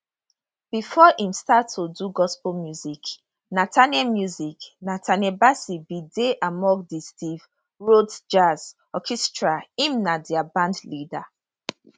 bifor im start to do gospel music nathaniel music nathaniel bassey bin dey among di steve rhodes jazz orchestra im na dia bandleader